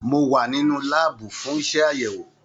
Mo wà nínú láàbù fún iṣẹ àyẹwò.